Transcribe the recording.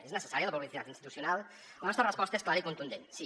és necessària la publicitat institucional la nostra resposta és clara i contundent sí